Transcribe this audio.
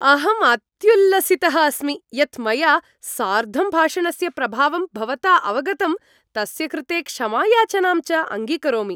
अहम् अत्युल्लसितः अस्मि यत् मया सार्धं भाषणस्य प्रभावं भवता अवगतं, तस्य कृते क्षमायाचनां च अङ्गीकरोमि।